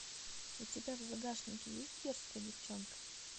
у тебя в загашнике есть дерзкая девчонка